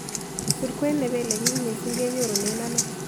Surkwen ne peele bik missing' kenyorunen ano